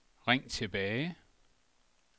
ring tilbage